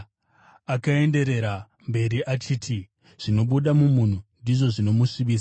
Akaenderera mberi achiti, “Zvinobuda mumunhu ndizvo zvinomusvibisa.